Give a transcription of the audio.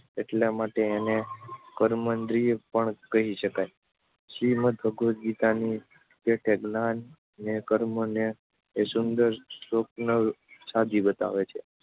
એટલા માટે એને કર્મેન્દ્રિય પણ કહી શકાય. શ્રીમદ્ ભગવગીતાની પેઠે જ્ઞાન ને કર્મને એ સુંદર સ્વપ્ન સાધી બતાવે છે.